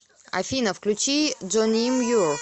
афина включи джоним юр